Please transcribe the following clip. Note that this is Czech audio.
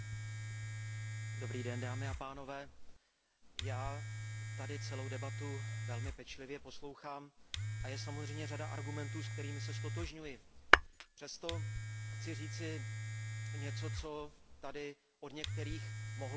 Vážený pane předsedající, já tady celou debatu velmi pečlivě poslouchám a je samozřejmě řada argumentů, se kterými se ztotožňuji. Přesto chci říci něco, co tady od některých mohlo zaznít a nezaznělo.